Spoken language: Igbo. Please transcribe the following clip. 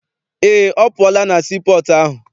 Eé, ọ pụọla na sii pọọtụ ahụ.